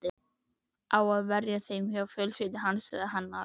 Á að verja þeim hjá fjölskyldu hans eða hennar?